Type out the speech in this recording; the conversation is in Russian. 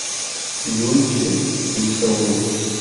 юльке лисовой